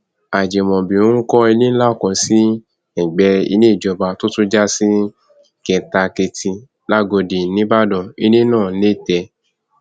ajimobi ń kọ ilé ńlá kan sí ẹgbẹ ilé ìjọba tó tún já sí kèétakétì làgọdì nìbàdàn ilé náà nẹtẹ